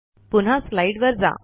पुन्हा स्लाईडवर जा